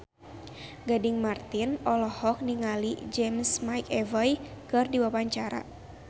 Gading Marten olohok ningali James McAvoy keur diwawancara